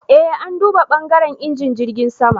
E, an duba *bangaren injin jirgin sama.